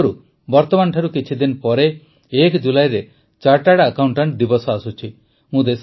ସଂଯୋଗରୁ ବର୍ତମାନଠାରୁ କିଛିଦିନ ପରେ ୧ ଜୁଲାଇରେ ଚାଟାର୍ଡ ଆକାଉଂଟାଂଟ ଦିବସ ଆସୁଛି